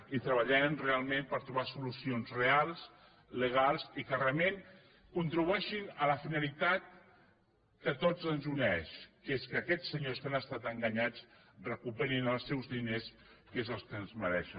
i treballarem realment per trobar solucions reals legals i que realment contribueixin a la finalitat que a tots ens uneix que és que aquests senyors que han estat enganyats recuperin els seus diners que és el que es mereixen